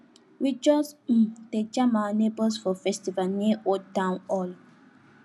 we just um dey jam our neighbors for festival near old town hall